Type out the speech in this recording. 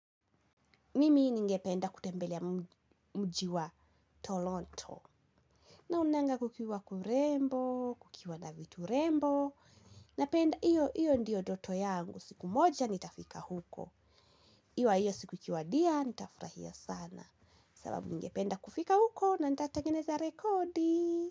Mimi ningependa kutembelea mji wa Tolonto. Naonanga kukiwa kurembo, kukiwa na vitu rembo. Napenda, iyo, iyo ndiyo ndoto yangu. Siku moja nitafika huko ikiwa hiyo siku ikiwadia nita furaia sana. Sababu ningependa kufika huko na nitaatangeneza rekodi.